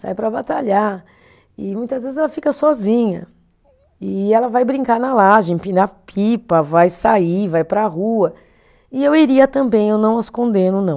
Sai para batalhar e muitas vezes ela fica sozinha e ela vai brincar na laje, empinar pipa, vai sair, vai para a rua e eu iria também, eu não as condeno não